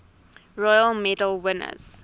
royal medal winners